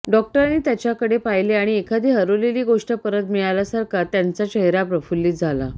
डॉक्टरांनी त्याच्याकडे पाहिले आणि एखादी हरवलेली गोष्ट परत मिळाल्यासारखा त्यांचा चेहरा प्रफुल्लित झाला